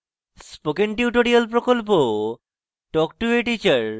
spoken tutorial প্রকল্প talk to a teacher প্রকল্পের অংশবিশেষ